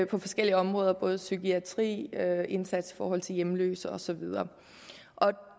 på forskellige områder psykiatri indsats for hjemløse og så videre